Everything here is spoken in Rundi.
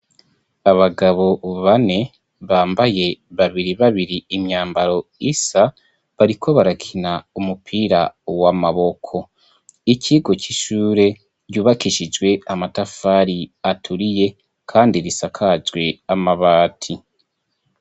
Abagabo bane bambaye, babiri babiri imyambaro isa, bariko barakina umupira w'amaboko. Ikigo c'ishure yubakishijwe amatafari aturiye kandi risakajwe amabati.